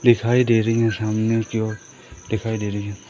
दिखाई दे रही है सामने की ओर दिखाई दे रही हैं।